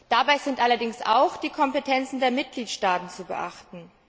Dabei sind allerdings auch die Kompetenzen der Mitgliedstaaten zu beachten.